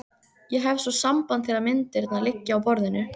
Ég hef svo samband þegar myndirnar liggja á borðinu.